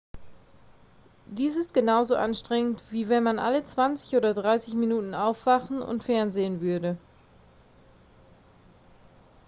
dies ist genauso anstrengend wie wenn man alle zwanzig oder dreißig minuten aufwachen und fernsehen würde